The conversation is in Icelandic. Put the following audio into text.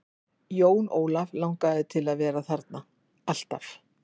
Jón Ólaf langaði til að vera þarna, alltaf.